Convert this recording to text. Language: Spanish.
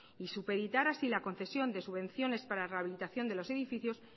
y supeditar así la concesión de subvenciones para rehabilitación de los edificios